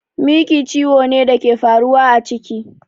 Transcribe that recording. Miki ciwo ne da ke faruwa a ciki